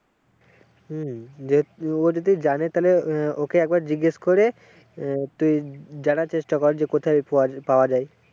হম দেখ ও যদি জানে তাহলে ওকে একবার জিজ্ঞেস করে তুই জানার চেষ্টা কর যে কোথায় পাওয়া যায়।